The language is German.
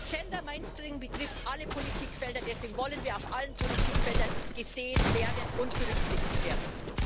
Gender Mainstreaming betrifft alle Politikfelder, deshalb wollen wir auf allen Politikfeldern gesehen werden und berücksichtigt werden.